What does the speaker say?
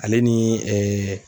Ale ni